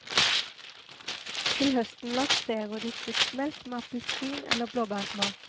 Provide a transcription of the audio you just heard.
Til høsten lanserer de fruktmelk med appelsin eller blåbærsmak.